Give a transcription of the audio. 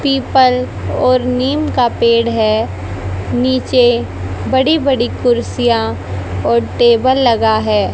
People और नीम का पेड़ है नीचे बड़ी बड़ी कुर्सियां और टेबल लगा है।